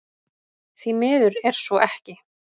Því miður er svo ekki